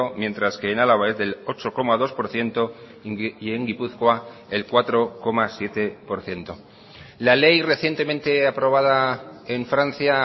mientras que en álava es del ocho coma dos por ciento y en gipuzkoa el cuatro coma siete por ciento la ley recientemente aprobada en francia